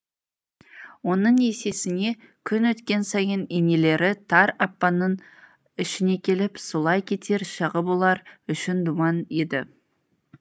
оның есесіне күн өткен сайын енелері тар апанның ішіне келіп сұлай кетер шағы бұлар үшін думан еді